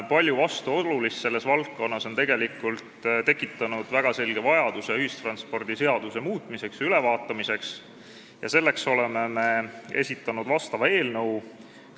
Palju vastuolulist selles valdkonnas on tekitanud väga selge vajaduse ühistranspordiseadust muuta ja üle vaadata ning sellepärast olemegi vastava eelnõu esitanud.